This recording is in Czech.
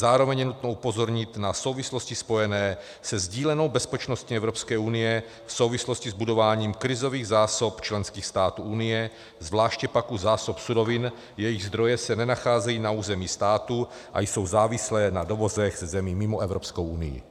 Zároveň je nutno upozornit na souvislosti spojené se sdílenou bezpečností Evropské unie v souvislosti s budováním krizových zásob členských států Unie, zvláště pak u zásob surovin, jejichž zdroje se nenacházejí na území státu a jsou závislé na dovozech ze zemí mimo Evropskou unii.